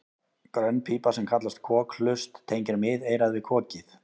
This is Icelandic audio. Grönn pípa sem kallast kokhlust tengir miðeyrað við kokið.